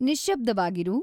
ನಿಶ್ಶಬ್ಧವಾಗಿರು